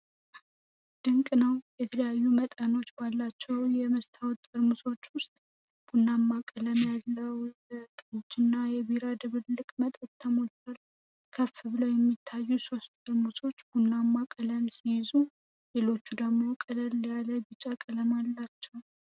ድንቅ ነው! የተለያዩ መጠኖች ባላቸው የመስታወት ጠርሙሶች ውስጥ ቡናማ ቀለም ያለው የጠጅና የቢራ ድብልቅ መጠጥ ተሞልቷል። ከፍ ብለው የሚታዩት ሶስት ጠርሙሶች ቡናማ ቀለም ሲይዙ፣ ሌሎቹ ደግሞ ቀለል ያለ ቢጫ ቀለም አላቸው።